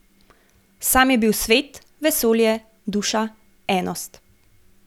Sam je bil svet, vesolje, Duša, Enost.